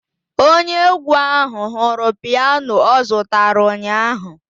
Onye egwu ahụ hụrụ piano ọ zụtara ụnyaahụ.